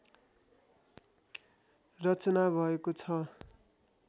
रचना भएको छ